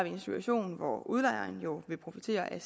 en situation hvor udlejeren jo vil profitere af